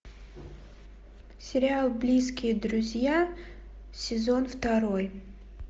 сериал близкие друзья сезон второй